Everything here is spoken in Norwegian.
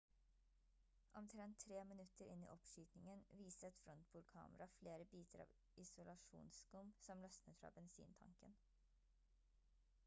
omtrent 3 minutter inn i oppskytingen viste et frontbordkamera flere biter av isolasjonsskum som løsnet fra bensintanken